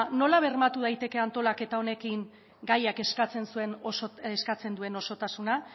nola bermatu daiteke antolaketa honekin gaiak eskatzen duen osotasuna